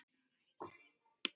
Hann var. besti vinur minn.